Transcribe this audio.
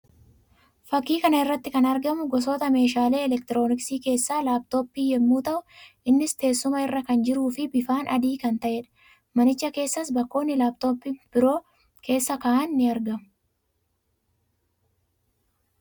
Fakkii kana irratti kan argamu gosoota meeshaalee elektirooniksii keessaa laptopii yammuu ta'u; innis teessuma irra kan jiruu fi bifaan adii kan ta'ee dha. Manicha keessaas bakkoonni laptopii biroo keessa ka'an ni argamu.